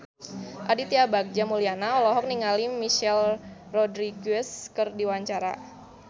Aditya Bagja Mulyana olohok ningali Michelle Rodriguez keur diwawancara